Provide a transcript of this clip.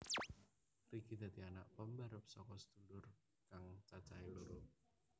Ricky dadi anak pambarep saka sedulur kang cacahé loro